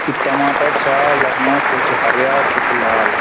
इख टमाटर छा यख्मा कुछ हर्या कुछ लाल।